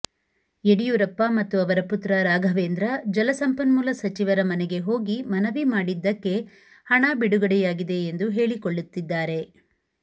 ಯಡಿಯೂರಪ್ಪ ಮತ್ತು ಅವರ ಪುತ್ರ ರಾಘವೇಂದ್ರ ಜಲಸಂಪನ್ಮೂಲ ಸಚಿವರ ಮನೆಗೆ ಹೋಗಿ ಮನವಿ ಮಾಡಿದ್ದಕ್ಕೆ ಹಣ ಬಿಡುಗಡೆಯಾಗಿದೆ ಎಂದು ಹೇಳಿಕೊಳ್ಳುತ್ತಿದ್ದಾರೆ